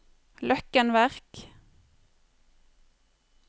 Løkken Verk